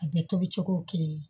A bɛɛ tobi cogo ye kelen ye